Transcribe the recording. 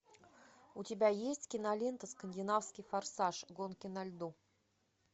у тебя есть кинолента скандинавский форсаж гонки на льду